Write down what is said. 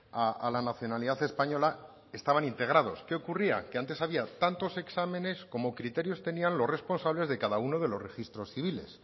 a la nacionalidad española estaban integrados qué ocurría que antes había tantos exámenes como criterios tenían los responsables de cada uno de los registros civiles